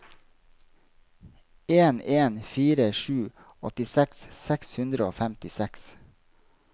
en en fire sju åttiseks seks hundre og femtiseks